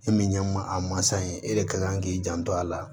E min ye masa in ye e de ka kan k'i janto a la